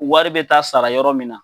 Wari bɛ taa sara yɔrɔ min na